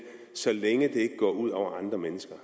så længe det ikke går ud over andre mennesker